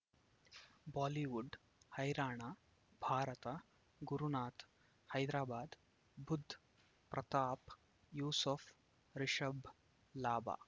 Bollywood ಹೈರಾಣ ಭಾರತ ಗುರುನಾಥ ಹೈದರಾಬಾದ್ ಬುಧ್ ಪ್ರತಾಪ್ ಯೂಸುಫ್ ರಿಷಬ್ ಲಾಭ